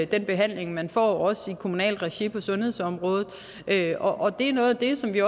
den behandling man får også i kommunalt regi på sundhedsområdet og det er noget af det som vi